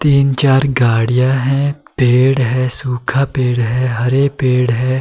तीन चार गाड़ियां हैं पेड़ है सूखा पेड़ है हरे पेड़ है।